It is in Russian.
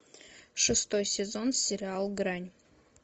шестой сезон сериал грань